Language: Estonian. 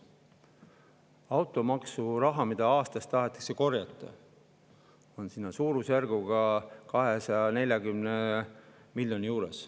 Rahasumma, mida automaksuga aastas tahetakse korjata, on suurusjärgus 240 miljonit.